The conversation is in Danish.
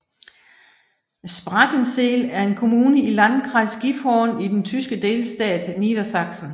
Sprakensehl er en kommune i Landkreis Gifhorn i den tyske delstat Niedersachsen